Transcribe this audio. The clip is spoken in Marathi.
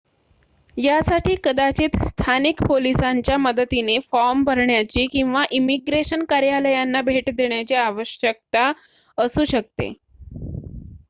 यासाठी कदाचित स्थानिक पोलिसांच्या मदतीने फॉर्म भरण्याची किंवा इमीग्रेशन कार्यालयांना भेट देण्याची आवश्यकता असू शकते